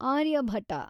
Aryabhata